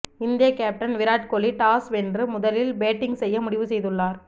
இந்திய captain Virat Kohli toss வென்று முதலில் பேட்டிங் செய்ய முடிவு செய்துள்ளார்